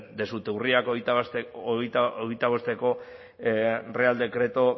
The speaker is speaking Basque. duzue urriak hogeita bosteko real decreto